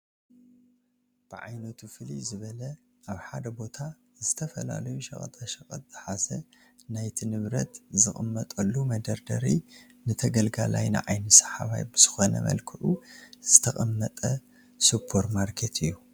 ብዓይነቱ ፍልይ ዝበለ ኣብ ሓደ ቦታ ዝተፈላለዩ ሸቐጣ ሸቐጥ ዝሓዘ ናይቲ ንብረት ዝቕመጠሉ መደርደሪ ንተገልጋላይ ንዓይኒ ሰሓባይ ብዝኾነ መልክዑ ዝተቐመጠ ሱፐር ማርኬት እዩ።